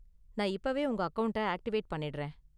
நான் இப்பவே உங்க அக்கவுண்ட்ட ஆக்டிவேட் பண்ணிடுறேன்.